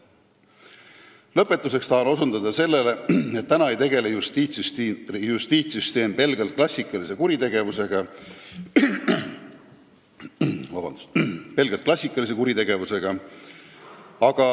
Lõpetuseks tahan osutada sellele, et justiitssüsteem ei võitle praegu pelgalt klassikalise kuritegevusega.